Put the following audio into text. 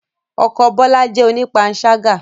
Ọkọ Bola jẹ́ onipansaga